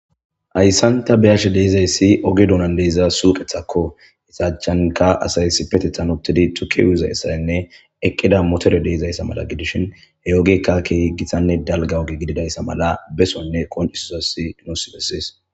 Hayssan ta beyashe dizayssi ooge duunnan diza suuqetakko iza achchankka asay issipetetan uuttidii tuuke uuyizayssanne eeqida motore mala godishin he oogeyikka keehippe dalgga ooge gididayssa mala beesonne qonccisizayssi nuus beses